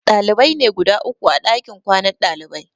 Ɗalibai ne guda uku a ɗakin kwanan ɗalibai.